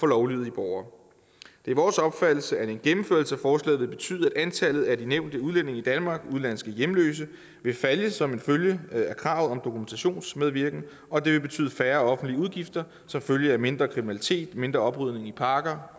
lovlydige borgere det er vores opfattelse at en gennemførelse af forslaget vil betyde at antallet af de nævnte udlændinge i danmark og udenlandske hjemløse vil falde som følge af kravet om dokumentationsmedvirken og at det vil betyde færre offentlige udgifter som følge af mindre kriminalitet mindre oprydning i parker